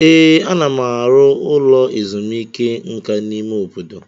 Ee, ana m arụ ụlọ ezumike nka n'ime obodo.